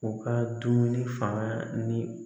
U ka dumuni fanga ni